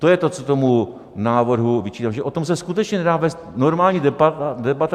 To je to, co tomu návrhu vyčítám, že o tom se skutečně nedá vést normální debata.